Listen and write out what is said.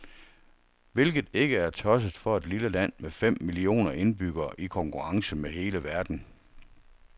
Hvilket ikke er tosset for et lille land med fem millioner indbyggere i konkurrence med hele verden.